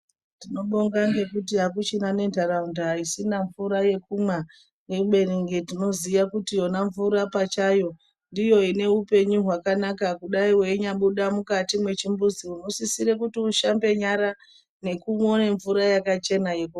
Tinobonga ngekuti akuchina nenharaunda isisina nemvura yekumwa. Kubeni kunge tinoziya kuti yona mvura pachayo ndiyo ine hupenyu hwakanaka. Kudai weinyabuda mukati mwechimbuzi unosisire kuti ushambe nyara nekuone mvura yakachena.